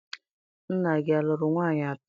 Nna gị a lụrụ nwaanyị atọ?